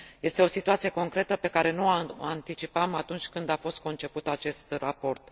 Este o situație concretă, pe care nu o anticipam atunci când a fost conceput acest raport.